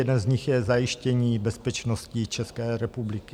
Jeden z nich je zajištění bezpečnosti České republiky.